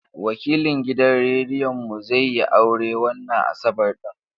Wakilin gidan rediyon mu zai yi aure wannan Asabar ɗin.